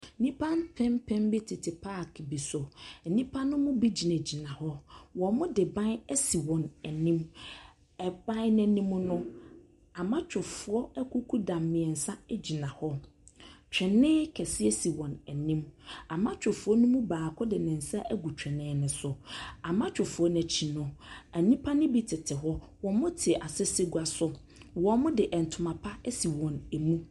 Nnipa mpempem bi tete paake bi so. Nnipa no mu bi gyinagyina hɔ. Wɔde ban asi wɔn anim. Ban no anim no, amatwofoɔ akukuda mmeɛnsa gyina hɔ. Twene kɛseɛ si wɔn anim. Amatwofoɔ no mu baako de ne nsa agu twene no so. Amatwofoɔ no akyi no , nnipa no bi tete hɔ. Wɔte asɛsɛdwa so. Wɔde ntimapa asi wɔn mu.